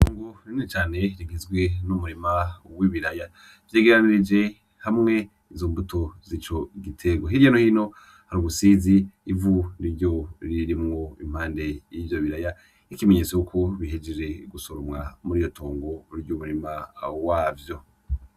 Itongo rinini cane rigizwe n'umurima w'ibiraya. Vyegeranirije hamwe izo mbuto z'ico giterwa. Hirya no hino hari ubusizi, ivu niryo ririmwo impande y'ivyo biraya, nk'ikimenyetso cuko bihejeje gusoromwa muriryo itongo ry'umurima wavyo.